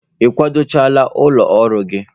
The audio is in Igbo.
Ị kwado chaala ụlọ ọrụ gị?